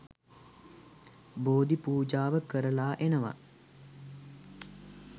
බෝධි පූජාව කරලා එනවා.